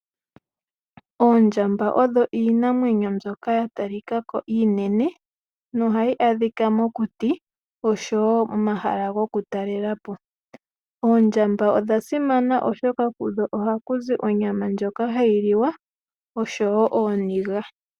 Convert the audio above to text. Oondjamba odho iinamwenyo mbyoka ya talika ko iinene nohayi adhika mokuti osho wo momahala gokutalela po. Oondjamba odha simana, oshoka kudho ohaku zi onyama ndjoka hayi liwa osho wo ooniga.